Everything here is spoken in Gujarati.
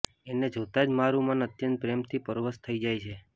એંને જોતાં જ મારું મન અત્યંત પ્રેમથી પરવશ થઇ જાય છે